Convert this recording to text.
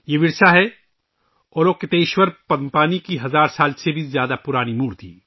یہ ورثہ ہے، اولوکیتیشورا پدم پانی کی ہزار سال سے زیادہ پرانی مورتی